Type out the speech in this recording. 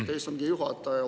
Aitäh, istungi juhataja!